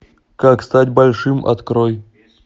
как стать большим открой